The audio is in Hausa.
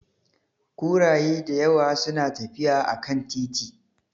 Kuraye da yawa suna tafiya a kan titi.